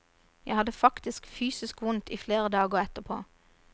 Jeg hadde faktisk fysisk vondt i flere dager etterpå.